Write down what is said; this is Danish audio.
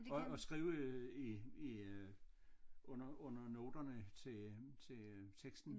Og og skrive øh i i øh under under noterne til til teksten